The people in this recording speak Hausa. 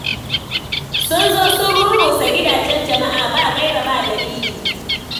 Sun zo sun rurrusa gidajen jama'a ba gaira ba dalili.